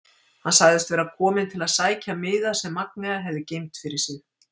Hann sagðist vera kominn til að sækja miða sem Magnea hefði geymt fyrir sig.